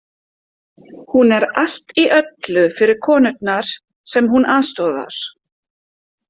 Hún er allt í öllu fyrir konurnar sem hún aðstoðar.